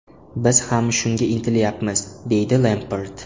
Biz ham shunga intilyapmiz”, deydi Lempard.